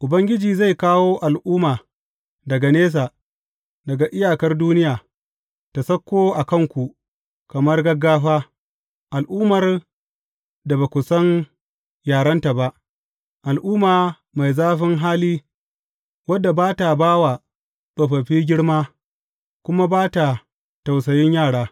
Ubangiji zai kawo al’umma daga nesa, daga iyakar duniya, ta sauko a kanku kamar gaggafa, al’ummar da ba ku san yarenta ba, al’umma mai zafin hali wadda ba ta ba wa tsofaffi girma, kuma ba ta tausayin yara.